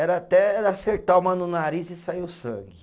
Era até acertar uma no nariz e sair o sangue.